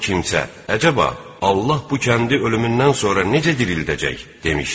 O kimsə, əcəba, Allah bu kəndi ölümündən sonra necə dirildəcək demişdi.